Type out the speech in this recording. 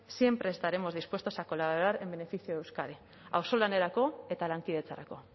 siempre estaremos dispuestos a colaborar en beneficio de euskadi auzolanerako eta lankidetzarako